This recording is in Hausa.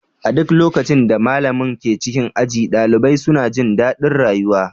A duk lokacin da malamin ke cikin aji, ɗalibai suna jin daɗin rayuwa.